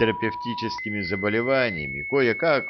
терапевтическими заболеваниями кое-как